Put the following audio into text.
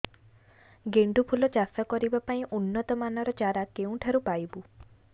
ଗେଣ୍ଡୁ ଫୁଲ ଚାଷ କରିବା ପାଇଁ ଉନ୍ନତ ମାନର ଚାରା କେଉଁଠାରୁ ପାଇବୁ